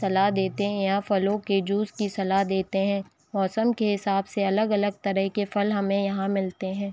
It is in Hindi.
सलाह देते है या फलों के जूस की सलाह देते है मौसम के हिसाब से अलग-अलग तरह के फल हमे यहाँ मिलते है।